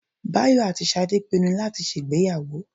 Báyọ̀ àti Ṣadé pinnu láti ṣe ìgbéyàwó